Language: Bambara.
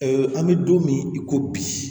an bɛ don min i ko bi